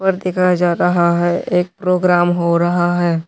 दिखाया जा रहा है एक प्रोग्राम हो रहा है।